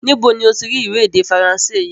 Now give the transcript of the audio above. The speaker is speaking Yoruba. Níbo ni ó ti rí ìwé èdè Faransé yìí?